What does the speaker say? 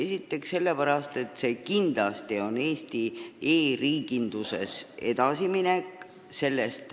Esiteks sellepärast, et see on Eesti e-riiginduses kindlasti edasiminek.